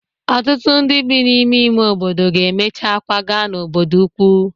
Ọtụtụ ndị bi n'ime ime obodo ga-emecha kwaga n'obodo ukwu